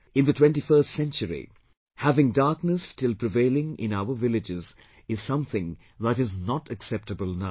In the twentyfirst century, having darkness still prevailing in our villages is something that is not acceptable now